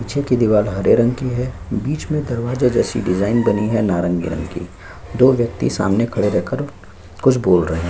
पीछे की दीवार हरे रंग की है बीच में दरवाजे जैसी डिजाइन बनी है नारंगी रंग की दो व्यक्ति सामने खड़े रहकर कुछ बोल रहे हैं।